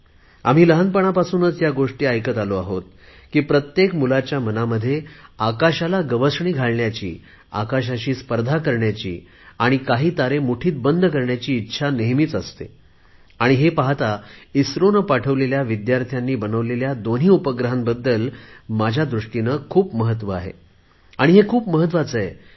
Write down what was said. आम्ही लहानपणापासून ह्या गोष्टी ऐकत आलो आहोत प्रत्येक मुलाच्या मनामध्ये आकाशाला गवसणी घालण्याची आकाशाला स्पर्श करण्याची आणि काही तारे मुठीत बंद करण्याची इच्छा नेहमीच असते आणि हे पाहता इस्रोने पाठवलेल्या विद्यार्थ्यांनी बनवलेले दोन्ही उपग्रह माझ्या दुष्टीने खूप महत्त्वपण आहेत आणि हे खूप महत्त्वाचे आहे